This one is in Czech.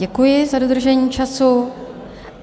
Děkuji za dodržení času.